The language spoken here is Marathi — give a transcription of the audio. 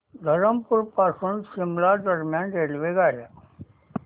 धरमपुर पासून शिमला दरम्यान रेल्वेगाड्या